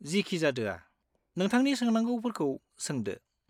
जिखिजादोया, नोंथांनि सोंनांगौफोरखौ सोंदो।